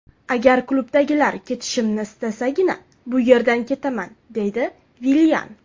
Agar klubdagilar ketishimni istasagina bu yerdan ketaman”,deydi Villian.